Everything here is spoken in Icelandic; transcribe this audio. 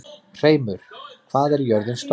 Hreimur, hvað er jörðin stór?